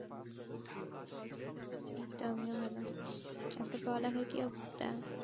এই তো আমিও ভালো। আর তোর পড়া লেখার কি অবস্থা?